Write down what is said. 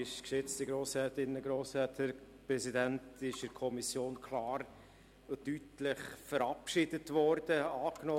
Der Rückweisungsantrag wurde in der Kommission klar und deutlich verabschiedet und angenommen.